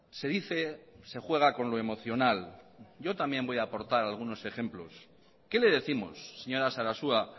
se dice se juega con lo emocional yo también voy a aportar algunos ejemplos qué le décimos señora sarasua